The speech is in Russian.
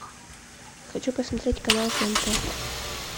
хочу посмотреть канал тнт